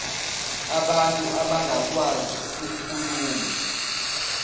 abantu abangakwazi ukukhuluma